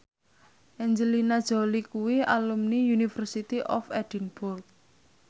Angelina Jolie kuwi alumni University of Edinburgh